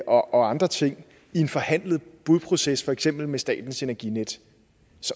og andre ting i en forhandlet budproces for eksempel med statens energinet